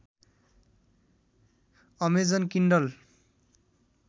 Amazon Kindle